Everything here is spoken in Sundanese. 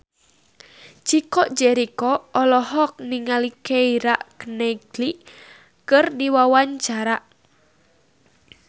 Chico Jericho olohok ningali Keira Knightley keur diwawancara